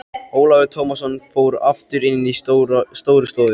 Ólafur Tómasson fór aftur inn í Stórustofu.